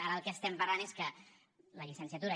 ara el que estem parlant és que la llicenciatura